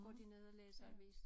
Går de ned og læser avis